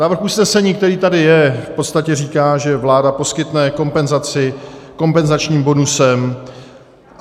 Návrh usnesení, který tady je, v podstatě říká, že vláda poskytne kompenzaci kompenzačním bonusem.